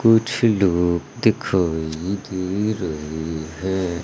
कुछ लोग दिखाई दे रहे हैं।